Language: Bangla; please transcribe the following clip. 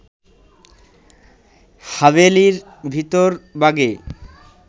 হাভেলির ভিতরবাগে